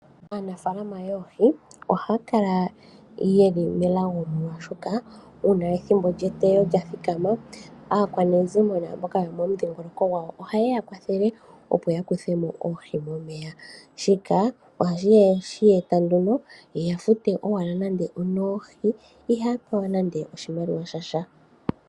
Aanafaalama yoohi ohaya kala yeli melago molwaashoka uuna ethimbo lyeteyo lya thikana, aakwanezimo naamboka yomomudhingoloko gwawo ohayeya kwathele opo ya kuthemo oohi momeya, shika ohashi eta nduno yeya fute owala nando onoohi ihaya pewa nande oshimaliwa shasha.